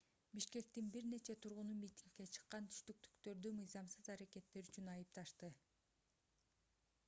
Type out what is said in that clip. бишкектин бир нече тургуну митингге чыккан түштүктүктөрдү мыйзамсыз аракеттери үчүн айыпташты